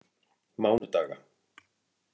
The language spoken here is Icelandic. mánudaga